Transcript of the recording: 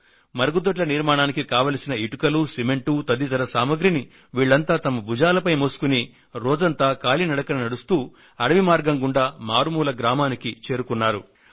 మరుగుదొడ్ల నిర్మాణానికి కావలసిన ఇటుకలు సిమెంట్ తదితర సామాగ్రిని వీళ్లంతా తమ భుజాలపై మోసుకొని రోజంతా కాలినడకన నడుస్తూ అడవి మార్గం గుండా మారుమూల గ్రామానికి చేరుకున్నారు